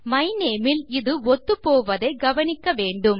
my name இல் இது ஒத்துப்போவதை கவனிக்க வேண்டும்